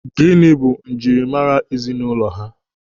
Gịnị bụ njirimara ezinụlọ ha?